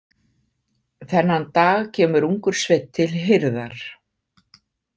Þennan dag kemur ungur sveinn til hirðar.